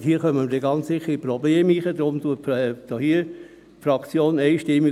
Dort kommen wir dann ganz sicher in Probleme hinein.